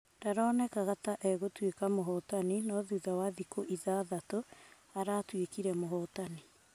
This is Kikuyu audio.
Ndaronekanaga ta egũtuĩka mũhotani no thutha wa thiku ithathatũ, aratuĩkĩre mũhotani.